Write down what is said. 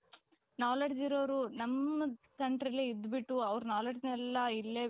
knowledge ಇರೋರು ನಮ್ಮ countryಲೇ ಇದ್ಬಿಟ್ಟು ಅವರ knowledgeನ ಇಲ್ಲೇ